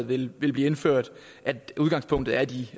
vil blive indført at udgangspunktet er de